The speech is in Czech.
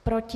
Proti?